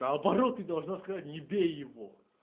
наоборот ты должна сказать не бей его